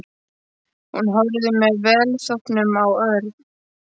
Hún horfði með velþóknun á Örn.